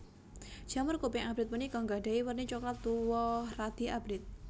Jamur kuping abrit punika nggadhahi werni coklat tuwa radi abrit